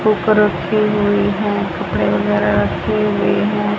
Book रखी हुई है पेन वगैरा रखी हुई है।